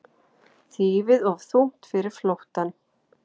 Þýfið of þungt fyrir flóttann